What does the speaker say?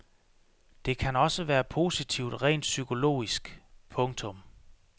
Det kan også være positivt rent psykologisk. punktum